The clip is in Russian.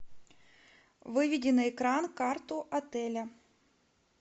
выведи на экран карту отеля